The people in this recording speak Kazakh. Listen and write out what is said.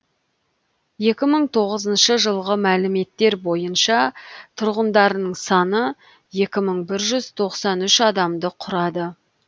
екі мың тоғызыншы жылғы мәліметтер бойынша тұрғындарының саны екі мың бір жүз тоқсан үш адамды құрады